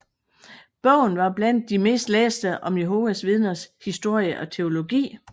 Bogen er blandt de mest læste om Jehovas Vidner historie og teologi